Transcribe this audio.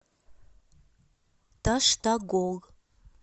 таштагол